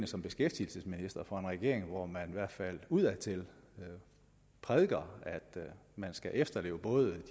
som beskæftigelsesminister for en regering hvor man i hvert fald udadtil prædiker at man skal efterleve både de